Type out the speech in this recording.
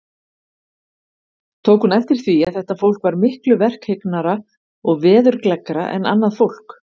Tók hún eftir því, að þetta fólk var miklu verkhyggnara og veðurgleggra en annað fólk.